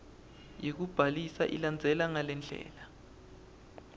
yekubhalisa ilandzela ngalendlela